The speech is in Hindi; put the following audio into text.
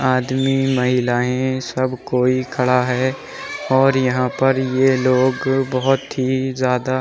आदमी महिलाएं सब कोई खड़ा हैं और यहाँ पर ये लोग बहोत ही ज्यादा --